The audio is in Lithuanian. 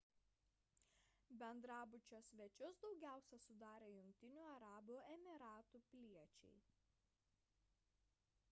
bendrabučio svečius daugiausia sudarė jungtinių arabų emyratų piliečiai